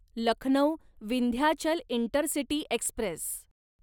Lucknow Vindhyachal intercity Express